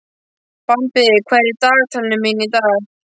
Bambi, hvað er í dagatalinu mínu í dag?